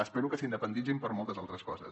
espero que s’independitzin per a moltes altres coses